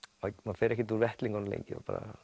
fer ekkert úr vettlingunum lengi